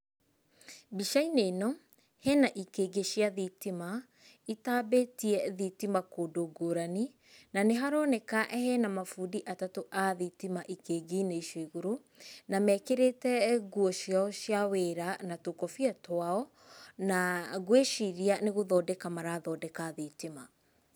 Mbica-inĩ ĩno hena ikĩngĩ cia thitima itambĩtie thitima kũndũ ngũrani, na nĩharoneka hena mabundi atatũ a thitima ikĩngĩ-inĩ icio igũrũ, na mekĩrĩte nguo ciao cia wĩra na tũkobia twao, na ngwĩciria nĩ gũthondeka marathondeka thitima.